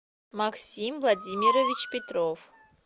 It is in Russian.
максим владимирович петров